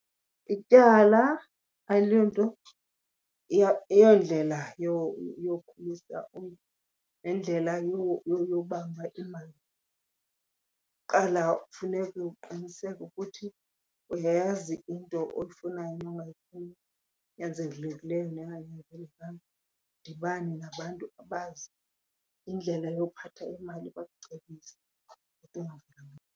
Ityala aliyonto, ayondlela yokhulisa umntu nendlela yobamba imali. Kuqala kufuneke uqiniseke ukuthi uyayazi into oyifunayo nongayifuniyo, enyanzelekileyo nenganyanzelekanga, udibane nabantu abazi indlela yokuphatha imali bakucebise .